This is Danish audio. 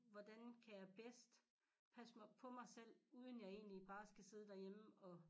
Hvordan kan jeg bedst passe mig på mig selv uden jeg egentlig bare skal sidde derhjemme og